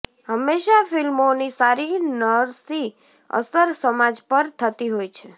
હંમેશા ફિલ્મોની સારી નરસી અસર સમાજ પર થતી હોય છે